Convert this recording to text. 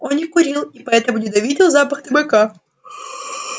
он не курил и поэтому ненавидел запах табака